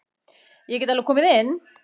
Ég get alveg komið inn.